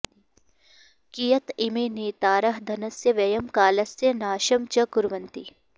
कियत् इमे नेतारः धनस्य व्ययं कालस्य नाशं च कुर्वन्ति